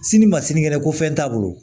Sini ma sini kɛnɛ ko fɛn t'a bolo